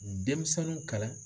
Denmisɛnninw kalan.